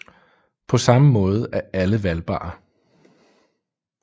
På samme måde er alle valgbare